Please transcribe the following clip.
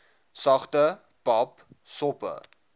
sagte pap soppe